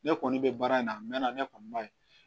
Ne kɔni bɛ baara in na a mɛnna ne kɔni b'a ye